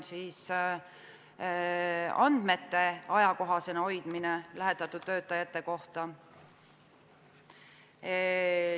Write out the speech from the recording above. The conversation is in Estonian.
Andmeid lähetatud töötajate kohta tuleb ajakohastada.